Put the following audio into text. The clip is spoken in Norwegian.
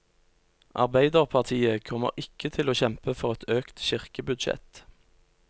Arbeiderpartiet kommer ikke til å kjempe for et økt kirkebudsjett.